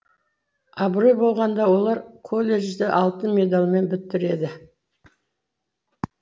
абырой болғанда олар коллежді алтын медальмен бітіреді